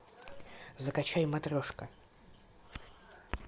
закачай матрешка